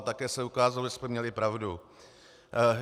A také se ukázalo, že jsme měli pravdu.